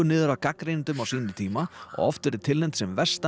niður af gagnrýnendum á sínum tíma og oft verið tilnefnd sem versta